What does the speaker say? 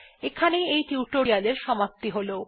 এখানেই এই টিউটোরিয়াল্ এর সমাপ্তি হল